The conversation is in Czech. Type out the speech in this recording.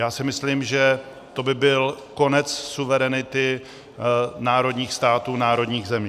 Já si myslím, že to by byl konec suverenity národních států, národních zemí.